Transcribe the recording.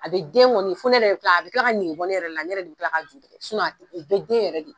A be den kɔni fɔ ne yɛrɛ bi ka a bi kila ka negebɔ ne yɛrɛ la ne yɛrɛ de bi kila ka ju tigɛ sinɔn te a be den yɛrɛ de